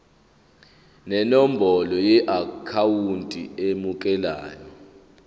nenombolo yeakhawunti emukelayo